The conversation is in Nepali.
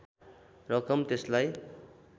रकम त्यसलाई